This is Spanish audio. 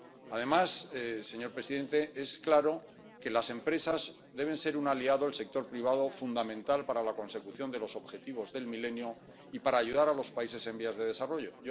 Además, señor presidente, está claro que las empresas deben ser un aliado del sector privado fundamental para la consecución de los objetivos del milenio y para ayudar a los países en desarrollo.